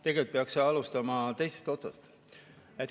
Tegelikult peaks alustama teisest otsast.